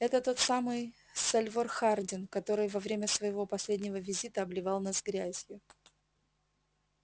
это тот самый сальвор хардин который во время своего последнего визита обливал нас грязью